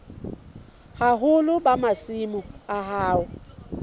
boholo ba masimo a hao